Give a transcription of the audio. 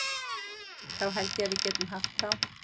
Þá held ég að við getum haft þá.